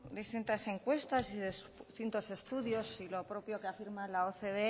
distintas encuestas y distintos estudios y lo propio que afirma la ocde